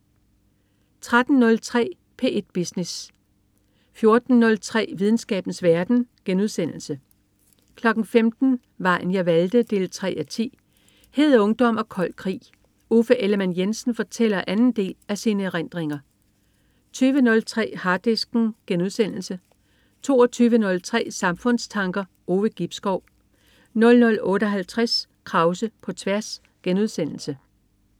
13.03 P1 Business 14.03 Videnskabens verden* 15.00 Vejen jeg valgte 3:10. Hed ungdom og kold krig. Uffe Ellemann-Jensen fortæller anden del af sine erindringer 20.03 Harddisken* 22.03 Samfundstanker. Ove Gibskov 00.58 Krause på tværs*